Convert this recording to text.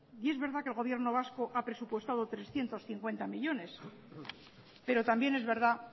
es verdad que el gobierno vasco ha presupuestado trescientos cincuenta millónes pero también es verdad